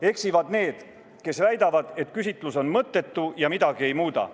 Eksivad need, kes väidavad, et küsitlus on mõttetu ja midagi ei muuda.